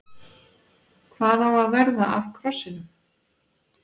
Hvað á að verða af krossinum?